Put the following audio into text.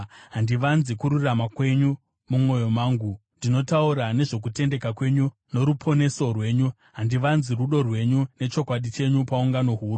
Handivanzi kururama kwenyu mumwoyo mangu; ndinotaura nezvokutendeka kwenyu noruponeso rwenyu. Handivanzi rudo rwenyu nechokwadi chenyu paungano huru.